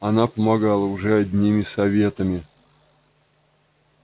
она помогала уже одними советами